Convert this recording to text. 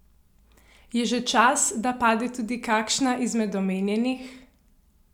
Je že čas, da pade tudi kakšna izmed omenjenih?